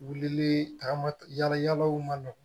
Wulili tagama yala yalaw man nɔgɔn